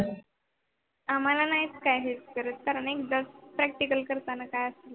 आम्हाला नाही करत कारण एकदा Practical करतांना के असते